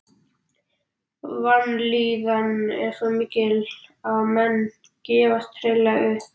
Vanlíðanin er svo mikil að menn gefast hreinlega upp.